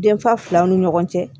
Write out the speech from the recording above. Denfa filaw ni ɲɔgɔn cɛ